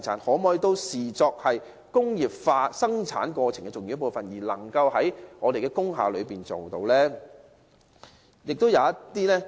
當局可否也視作工業化生產過程的重要部分，讓這些行業能夠在工廈經營？